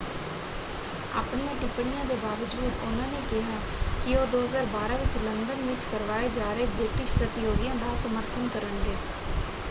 ਆਪਣੀਆਂ ਟਿੱਪਣੀਆਂ ਦੇ ਬਾਵਜੂਦ ਉਹਨਾਂ ਨੇ ਕਿਹਾ ਕਿ ਉਹ 2012 ਵਿੱਚ ਲੰਦਨ ਵਿੱਚ ਕਰਵਾਏ ਜਾ ਰਹੇ ਬ੍ਰਿਟਿਸ਼ ਪ੍ਰਤਿਯੋਗੀਆਂ ਦਾ ਸਮਰਥਨ ਕਰਨਗੇ।